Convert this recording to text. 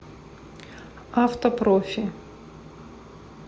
авто профи